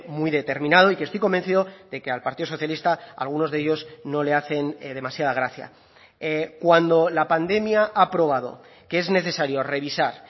muy determinado y que estoy convencido de que al partido socialista algunos de ellos no le hacen demasiada gracia cuando la pandemia ha probado que es necesario revisar